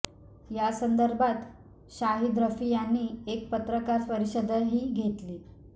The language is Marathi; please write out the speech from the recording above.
यासंदर्भात शाहिद रफी यांनी एक पत्रकार परिषदही घेतली